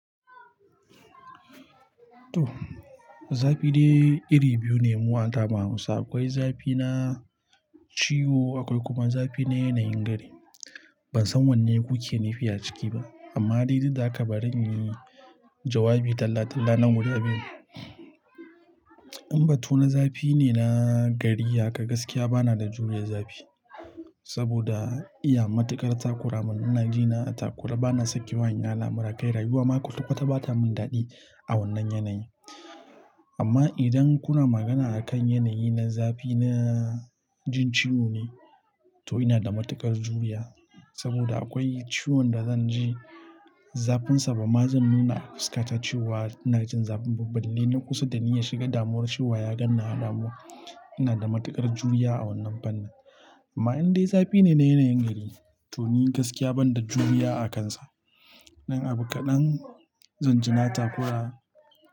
To, zafi dai iri biyu ne mu anamu hausa. Akwai zafi na ciwo, akwai kuma zafi na yanayin gari. Ban san wanne kuke nufi a ciki ba, amma dai duk ha ka barin yi jawabi dalla dalla na guda biyu. In batu na zafi ne na gari haka gaskiya bana da juriya zafi. Saboda iya matuƙar takura mun inaji na a takure bana sakewa in yi al'amura kai rayuwa ma ƙwaƙwa ta bata min daɗi a wannan yanayi. Amma idan kuna magana a kan yanayi na zafi na jin ciwo ne, to ina da matuƙar juriya. Saboda akwai ciwon da zan ji zafinsa ba ma zan nuna a fuska ta cewa. Ina jin zafin ba balle na kusa da ni ya shiga damuwar cewa ya ganni a damuwa. Ina da matuƙar juriya a wannan fannin. Amma in dai zafi ne na yanayin gari, to ni gaskiya ban da juriya a kansa. Dan abu kaɗan zan ji na takura.